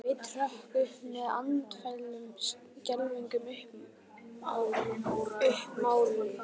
Sveinn hrökk upp með andfælum, skelfingin uppmáluð.